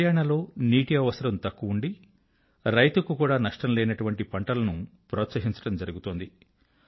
హరియాణా లో నీటి అవసరం తక్కువ ఉండి రైతుకు కూడా నష్టం లేనటువంటి పంటలను ప్రోత్సహించడం జరుగుతోంది